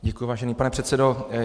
Děkuji, vážený pane předsedo.